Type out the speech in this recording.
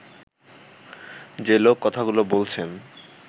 যে লোক কথাগুলো বলছেন